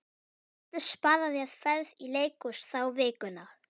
Þú getur sparað þér ferð í leikhús þá vikuna.